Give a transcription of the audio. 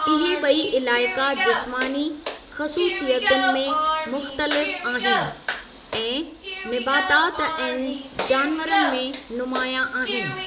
इहे ॿई इलाइक़ा जिस्मानी ख़सूसियतुनि में मुख़्तलिफ़ आहिनि ऐं निबातात ऐं जानवरनि में नुमायां आहिनि।